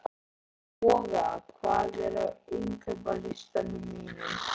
Boga, hvað er á innkaupalistanum mínum?